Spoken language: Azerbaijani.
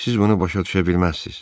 Siz bunu başa düşə bilməzsiniz.